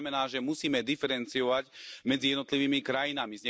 To znamená, že musíme diferencovať medzi jednotlivými krajinami.